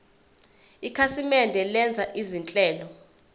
ikhasimende lenza izinhlelo